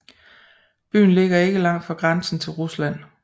Byen ligger ikke langt fra grænsen til Rusland